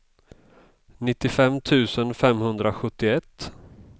nittiofem tusen femhundrasjuttioett